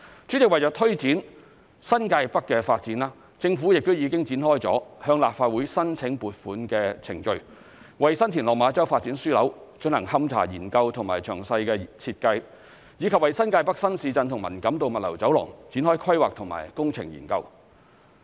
主席，為了推展新界北發展，政府亦已展開向立法會申請撥款的程序，為新田/落馬洲發展樞紐進行勘查研究及詳細設計，以及為新界北新市鎮及文錦渡物流走廊展開規劃及工程研究。